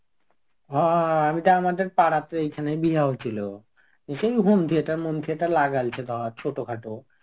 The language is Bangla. হ আমি তো আমাদের পাড়াতে এইখানেই বিয়াহ হচ্ছিল. এ সেই Home theatre মন theatre লাগাইছে ধর ছোটখাটো.